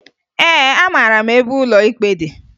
Ee, amara m ebe ụlọ ikpe dị